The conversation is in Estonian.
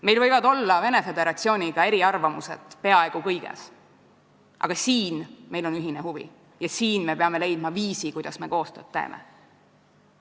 Meil võivad olla Venemaa Föderatsiooniga eriarvamused peaaegu kõiges, aga siin on meil ühine huvi ja siin me peame leidma viisi, kuidas koostööd teha.